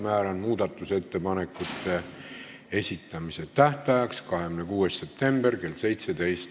Määran muudatusettepanekute esitamise tähtajaks 26. septembri kell 17.